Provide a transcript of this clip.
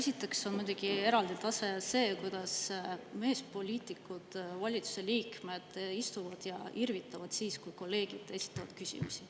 Esiteks on muidugi eraldi tase see, kuidas meespoliitikud, valitsuse liikmed istuvad ja irvitavad siis, kui kolleegid esitavad küsimusi.